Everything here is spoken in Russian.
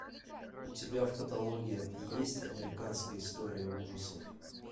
у тебя в каталоге есть американская история ужасов